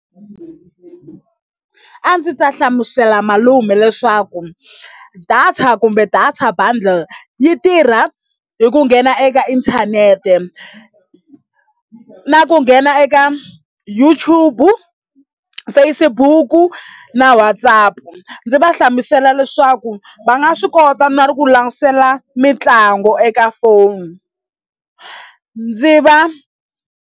A ndzi ta hlamusela malume leswaku data kumbe data bundle yi tirha hi ku nghena eka inthanete na ku nghena eka YouTube, Facebook na WhatsApp ndzi va hlamusela leswaku va nga swi kota na ku langutisela mitlangu eka foni ndzi va.